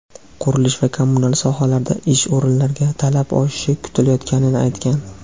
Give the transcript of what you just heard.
qurilish va kommunal sohalarda ish o‘rinlariga talab oshishi kutilayotganini aytgan.